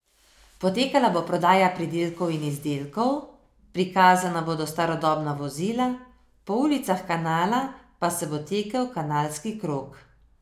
Potekala bo prodaja pridelkov in izdelkov, prikazana bodo starodobna vozila, po ulicah Kanala pa se bo tekel Kanalski krog.